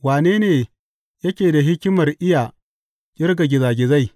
Wane ne yake da hikimar iya ƙirga gizagizai?